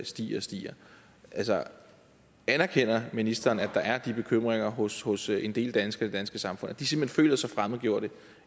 stiger og stiger anerkender ministeren at der er de bekymringer hos hos en del danskere i det danske samfund at de simpelt hen føler sig fremmedgjorte